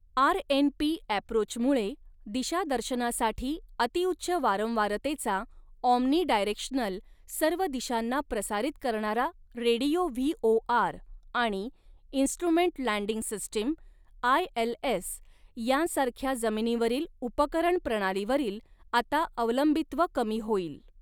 RNP ॲप्रोचमुळे दिशादर्शनासाठी अतिउच्च वारंवारतेचा ऑम्निडायरेक्शनल सर्व दिशांना प्रसारित करणारा रेडियो व्हीओआर आणि instrument landing system I L S यांसारख्या जमिनीवरील उपकरण प्रणालीवरील आता अवलंबित्व कमी होईल.